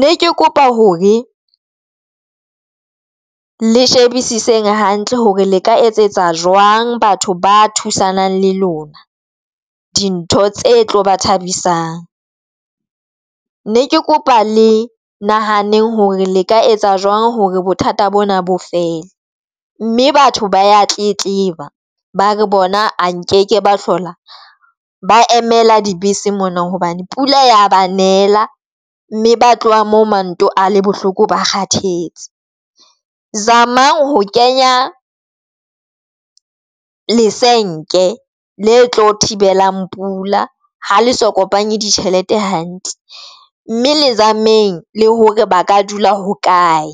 Ne ke kopa hore le shebisiseng hantle hore le ka etsetsa jwang batho ba thusanang le lona dintho tse tlo ba thabisang, ne ke kopa le nahaneng hore le ka etsa jwang hore bothata bona bo fele, mme batho ba ya tletleba, ba re bona a nkeke ba hlola ba emela dibese mona hobane pula ya ba nela, mme ba tloha moo manto a le bohloko, ba kgathetse. Zama ho kenya le senke le tlo thibelang pula ha le so kopanye ditjhelete hantle mme le zameng le hore ba ka dula ho kae.